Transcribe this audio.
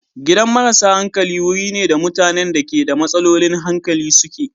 Gidan marasa hankali wuri ne da mutanen da ke da matsalolin hankali suke.